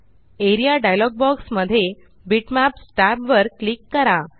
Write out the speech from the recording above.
A R E A dialog box मध्ये bitmaps tab वर click करा